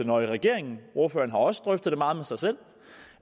nøje i regeringen ordføreren har også drøftet det meget med sig selv og